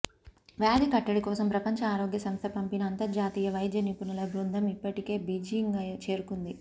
వ్యాధి కట్టడి కోసం ప్రపంచ ఆరోగ్య సంస్థ పంపిన అంతర్జాతీయ వైద్య నిపుణుల బృందం ఇప్పటికే బీజింగ్ చేరుకుంది